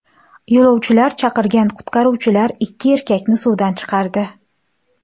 Yo‘lovchilar chaqirgan qutqaruvchilar ikki erkakni suvdan chiqardi.